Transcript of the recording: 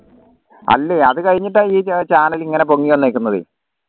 അല്ലേ അത് കഴിഞ്ഞിട്ട ഈ channel ഇങ്ങനെ പൊങ്ങി വന്നേക്കണേ